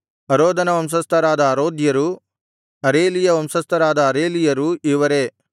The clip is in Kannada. ಅರೋದನ ವಂಶಸ್ಥರಾದ ಅರೋದ್ಯರು ಅರೇಲೀಯ ವಂಶಸ್ಥರಾದ ಅರೇಲೀಯರು ಇವರೇ